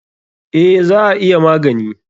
Eh, za a iya magani.